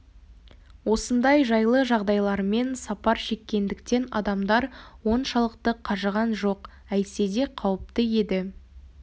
осындай жайлы жағдайлармен сапар шеккендіктен адамдар оншалықты қажыған жоқ әйтсе де қауіпті еді